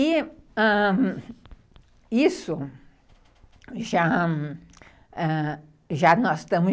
E, ãh, isso, já nós estamos